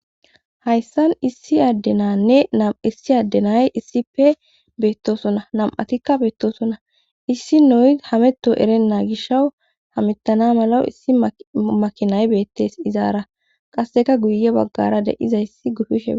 Hayssan issi addenanne nam issi addenay issipe beettoosona nam'atikka beettosona issi noyi hametto erenna gishaw hamettana mala issi makinay beettes izaara qasseka guye baggara de'izayssi gufishee..